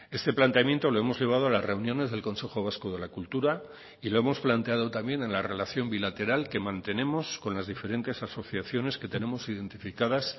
este planteamiento lo hemos llevado a las reuniones del consejo vasco de la cultura y lo hemos planteado también en la relación bilateral que mantenemos con las diferentes asociaciones que tenemos identificadas